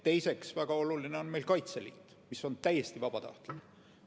Teiseks, väga oluline on meil Kaitseliit, mis on täiesti vabatahtlik.